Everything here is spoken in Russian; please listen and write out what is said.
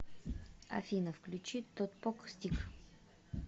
афина включи тотпок стик